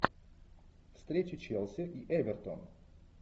встреча челси и эвертон